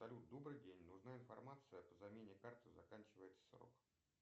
салют добрый день нужна информация по замене карты заканчивается срок